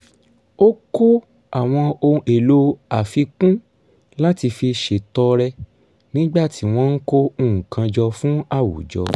ó kó àwọn ohun èlò àfikún láti fi ṣètọrẹ nígbà tí wọ́n ń kó nǹkan jọ fún àwùjọ